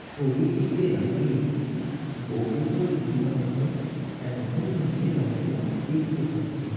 ছবিটিতে আমি একটি বহুতল ইমারতের একদম নিচের অংশ দেখতে পাচ্ছি।